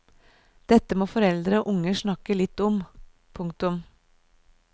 Dette må foreldre og unger snakke litt om. punktum